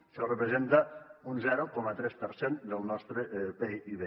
això representa un zero coma tres per cent del nostre pib